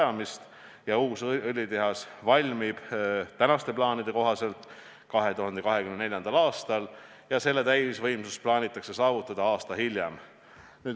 See uus õlitehas valmib praeguste plaanide kohaselt 2024. aastal ja selle täisvõimsus plaanitakse saavutada aasta hiljem.